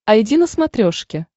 айди на смотрешке